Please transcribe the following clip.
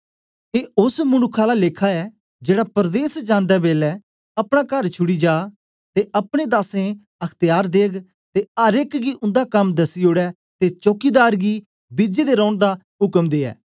ए ओस मनुक्ख आला लेखा ऐ जेड़ा परदेस जांनदे बेलै अपना कर छुड़ी जा ते अपने दासें अख्त्यार देग ते अर एक गी उन्दा कम दसी ओड़े ते चौकीदार गी बिजे दे रौन दा उक्म दे